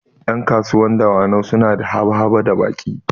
Ƴan kasuwar dawanau suna da haba-haba da baƙi